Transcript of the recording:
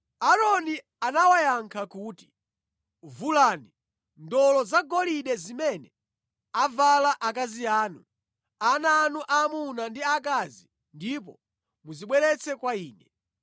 Aaroni anawayankha kuti, “Vulani ndolo zagolide zimene avala akazi anu, ana anu aamuna ndi aakazi ndipo muzibweretse kwa ine.”